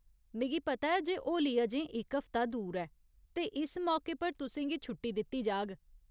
मिगी पता ऐ जे होली अजें इक हफ्ता दूर ऐ, ते इस मौके पर तुसें गी छुट्टी दित्ती जाह्ग।